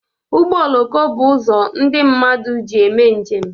Ụgbọ oloko bụ uzo ndị mmadụ ji eme njem